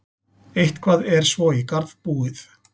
Eitthvað er svo í garð búið